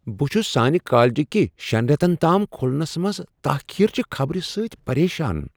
بہٕ چھس سانہ کالج کہ شیٚن ریتن تام کھلنس منز تاخیر چہ خبر سۭتۍ پریشان۔